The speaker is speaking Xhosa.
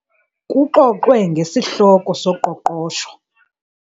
Kuxoxwe ngesihloko soqoqosho